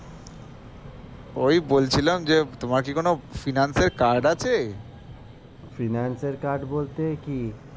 ওই বলছিলাম যে তোমার কি কোনো finance এর card আছে?